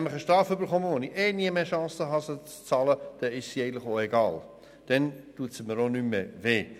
Eine Busse, die ich ohnehin nie werde bezahlen können, ist mir egal und tut mir nicht mehr weh.